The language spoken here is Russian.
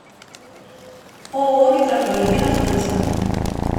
ооо метрополь где находится